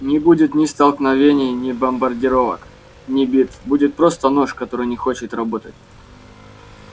не будет ни столкновений ни бомбардировок ни битв будет просто нож который не хочет работать